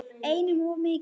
Einum of mikið.